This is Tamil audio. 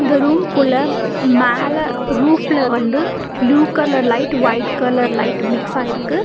இந்த ரூம் குள்ள மேல ரூஃப்ல வந்து blue colour light white colour light மிக்ஸாயிருக்கு .